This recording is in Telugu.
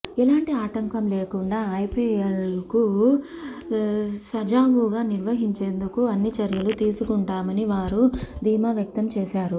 ఎలాంటి ఆటంకం లేకుండా ఐపిఎల్ను సజావుగా నిర్వహించేందుకు అన్ని చర్యలు తీసుకుంటామని వారు ధీమా వ్యక్తం చేశారు